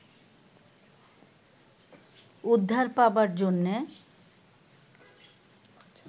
উদ্ধার পাবার জন্যে